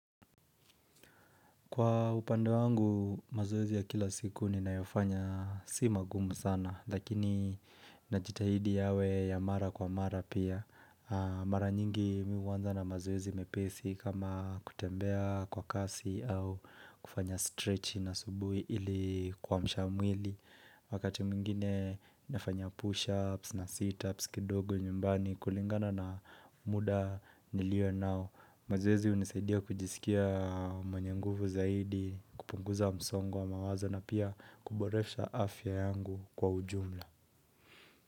Kwa upande wangu, mazoezi ya kila siku ninayofanya si magumu sana, lakini najitahidi yawe ya mara kwa mara pia. Mara nyingi mi huanza na mazoezi mepesi kama kutembea kwa kasi au kufanya stretch na asubuhi ili kuamsha mwili. Wakati mwingine nafanya push-ups na sit-ups kidogo nyumbani kulingana na muda nilio nao. Mazoezi hunisaidia kujisikia mwenye nguvu zaidi kupunguza msongo wa mawazo na pia kuboresha afya yangu kwa ujumla.